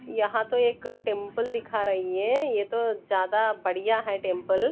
यहां तो एक टेंपल दिख रही है ये तो ज्यादा बढ़ियां है टेंपल ।